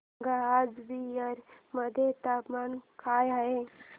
सांगा आज बिहार मध्ये तापमान काय आहे